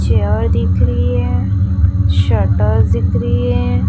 Chair दिख रही है शटर्स दिख रही है।